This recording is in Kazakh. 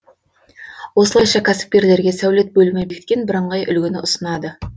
осылайша кәсіпкерлерге сәулет бөлімі бекіткен бірыңғай үлгіні ұсынады